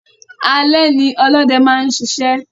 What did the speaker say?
Alé ní olóde máa n sisẹ́